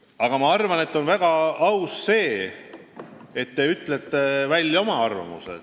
Aga ma arvan, et on väga aus, et te ütlete välja oma arvamuse.